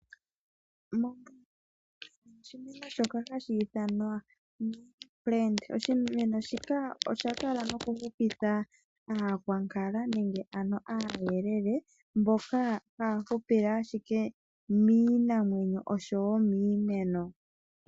Oshimeno shoka hashi ithanwa! Nara plant. Oshimeno shino osha kala nokuhupitha aakwankala nenge ano aayelele mboka haya hupile ashike miinamwenyo osho wo miimeno.